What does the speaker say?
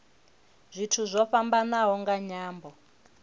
zwithu zwo fhambanaho nga nyambo